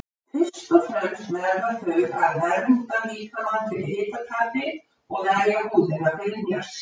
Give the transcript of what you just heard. Fyrst og fremst verða þau að vernda líkamann fyrir hitatapi og verja húðina fyrir hnjaski.